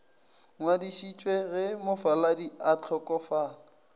ngwadišitšwe ge mofaladi a hlokofala